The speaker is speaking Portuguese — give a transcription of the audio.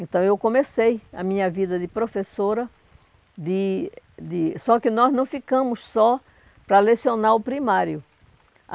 Então, eu comecei a minha vida de professora, de de só que nós não ficamos só para lecionar o primário.